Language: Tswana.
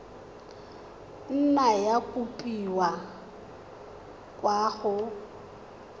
nna ya kopiwa kwa go